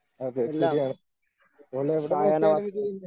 എല്ലാം സായാഹ്ന വാർത്തകളും